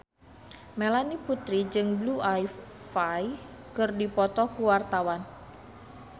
Melanie Putri jeung Blue Ivy keur dipoto ku wartawan